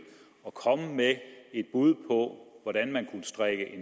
at komme med et bud på hvordan man kunne strikke